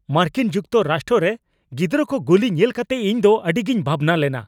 ᱢᱟᱨᱠᱤᱱ ᱡᱩᱠᱛᱚᱨᱟᱥᱴᱚ ᱨᱮ ᱜᱤᱫᱽᱨᱟᱹ ᱠᱚ ᱜᱩᱞᱤ ᱧᱮᱞ ᱠᱟᱛᱮ ᱤᱧᱫᱚ ᱟᱹᱰᱤᱜᱤᱧ ᱵᱷᱟᱵᱽᱱᱟ ᱞᱮᱱᱟ ᱾